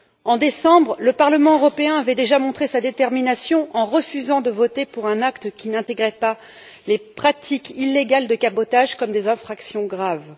En décembre, le Parlement européen avait déjà montré sa détermination en refusant de voter un acte qui n'intégrait pas les pratiques illégales de cabotage en tant qu'infractions graves.